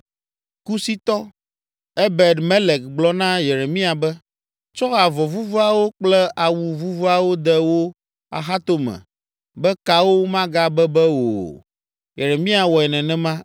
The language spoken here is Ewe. Kusitɔ, Ebed Melek gblɔ na Yeremia be, “Tsɔ avɔ vuvuawo kple awu vuvuawo de wò axatome be kawo magabebe wò o.” Yeremia wɔe nenema.